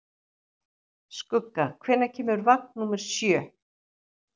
Skugga, hvenær kemur vagn númer sjö?